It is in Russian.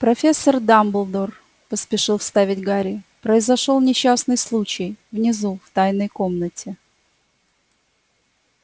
профессор дамблдор поспешил вставить гарри произошёл несчастный случай внизу в тайной комнате